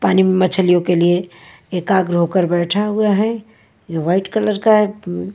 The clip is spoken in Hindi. पानी में मछलियों के लिए एकाग्र होकर बैठा हुआ है यह व्हाईट कलर का है --